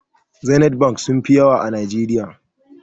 Zenith bank sunfi yawa a najeriya